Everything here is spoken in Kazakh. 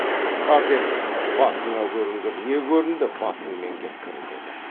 қысқарт енді басыңа көрінгір не көрінді басыңмен кеткір деді